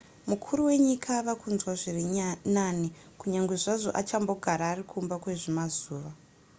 mukuru wenyika ava kunzwa zviri nani kunyange zvazvo achambogara ari kumba kwezvimazuva